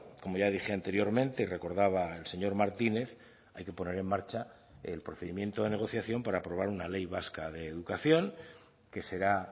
como ya dije anteriormente y recordaba el señor martínez hay que poner en marcha el procedimiento de negociación por aprobar una ley vasca de educación que será